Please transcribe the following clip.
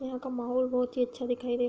यहाँ का माहोल बोहोत ही अच्छा दिखाई दे --